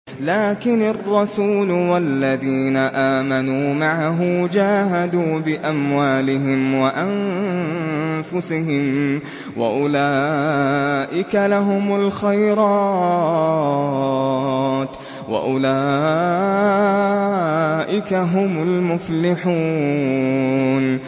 لَٰكِنِ الرَّسُولُ وَالَّذِينَ آمَنُوا مَعَهُ جَاهَدُوا بِأَمْوَالِهِمْ وَأَنفُسِهِمْ ۚ وَأُولَٰئِكَ لَهُمُ الْخَيْرَاتُ ۖ وَأُولَٰئِكَ هُمُ الْمُفْلِحُونَ